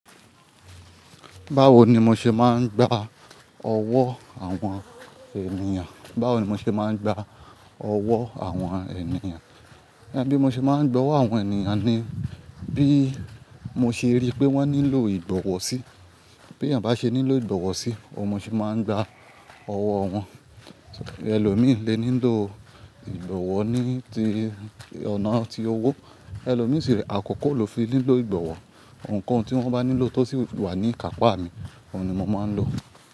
Báwo ni mo ṣe máa ń gba ọwọ́ àwọn ènìyàn? Báwo ni mo ṣe máa ń gba ọwọ́ àwọn ènìyàn? Bí mo ṣe máa ń gba ọwọ́ àwọn ènìyàn ni bí mo ṣe rí pé wọ́n nílò ìgbọ̀wọ́ sí. Bí èèyàn bá ṣe nílò ìgbọ̀wọ́ sí, òun mo ṣe máa ń gba ọwọ́ wọn. Ẹlòmíì lé nílò ìgbọ̀wọ́ ní ti ọ̀nà ti owó, ẹlòmíì sì rẹ akọkọ ló fi nílò ìgbọ̀wọ́. Òǹkọ̀ tí wọ́n bá nílò tó sì wà ní ikàpá mi, òun ni mo máa ń lò.